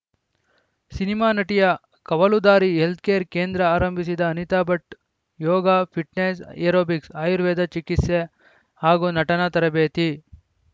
cinema ನಟಿಯ ಕವಲುದಾರಿ health care ಕೇಂದ್ರ ಆರಂಭಿಸಿದ ಅನಿತಾ ಭಟ್‌ ಯೋಗ ಪಿಟ್‌ನೆಸ್‌ ಎರೋಬಿಕ್ಸ್‌ ಆರ್ಯವೇದ ಚಿಕಿತ್ಸೆ ಹಾಗೂ ನಟನಾ ತರಬೇತಿ